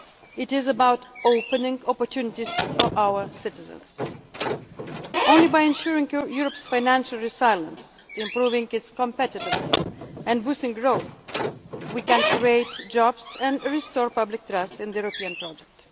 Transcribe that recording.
It is about opening up opportunities for our citizens. Only by ensuring Europe's financial resilience, improving its competitiveness and boosting growth can we create jobs and restore public trust in the European project.